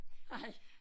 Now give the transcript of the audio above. Hej